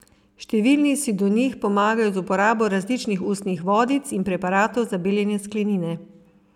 Številni si do njih pomagajo z uporabo različnih ustnih vodic in preparatov za beljenje sklenine.